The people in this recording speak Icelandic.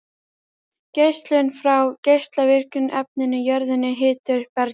Geislun frá geislavirkum efnum í jörðunni hitar upp bergið.